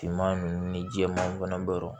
Finman ninnu ni jɛman fana bɛrɛ